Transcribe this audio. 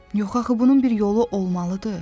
Yox axı bunun bir yolu olmalıdır.